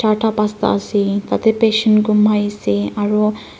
arta pangsta ase aro tati patient komai ase aroh.